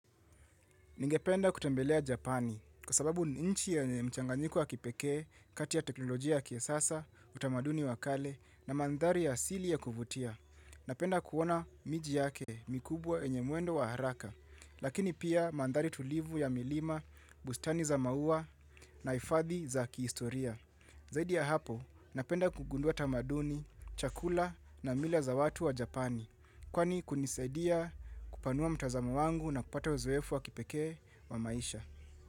Ningependa kutembelea Japani kwa sababu ni nchi yenye mchangayiko wa kipeke, kati ya teknolojia ya kisasa, utamaduni wa kale na mandhari ya asili ya kuvutia. Napenda kuona miji yake mikubwa yenye mwendo wa haraka, lakini pia mandhari tulivu ya milima, bustani za maua na hifadhi za kiistoria. Zaidi ya hapo, napenda kugundua tamaduni, chakula na mila za watu wa Japani, kwani hunisadia kupanua mtazamo wangu na kupata uzoefu wa kipekee wa maisha.